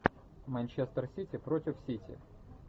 манчестер сити против сити